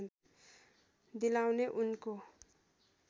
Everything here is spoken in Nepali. दिलाउने उनको